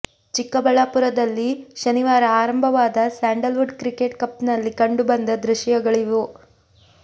ಚಿಕ್ಕಬಳ್ಳಾಪುರದದಲ್ಲಿ ಶನಿವಾರ ಆರಂಭವಾದ sandalwood cricket cup ನಲ್ಲಿ ಕಂಡು ಬಂದ ದೃಶ್ಯಗಳಿವು